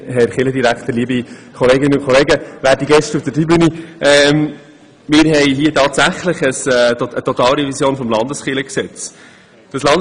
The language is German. Wir nehmen hier tatsächlich eine Totalrevision des Landeskirchengesetzes vor.